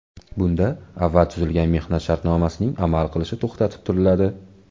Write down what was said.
Bunda avval tuzilgan mehnat shartnomasining amal qilishi to‘xtatib turiladi.